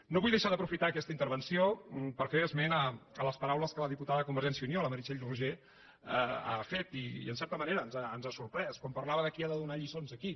no vull deixar d’aprofitar aquesta intervenció per fer esment de les paraules que la diputada de convergència i unió la meritxell roigé ha fet i en certa manera ens ha sorprès quan parlava de qui ha de donar lliçons a qui